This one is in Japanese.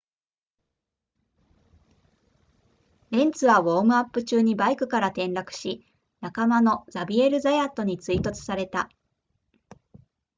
レンツはウォームアップ中にバイクから転落し仲間のザビエルザヤットに追突された